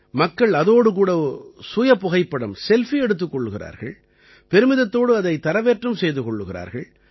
மக்கள் அதோடு கூட சுயபுகைப்படம் செல்ஃபி எடுத்துக் கொள்கிறார்கள் பெருமிதத்தோடு அதைத் தரவேற்றம் செய்து கொள்கிறார்கள்